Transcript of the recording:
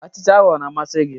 Achịcha ahụ ọ na-amasị gị?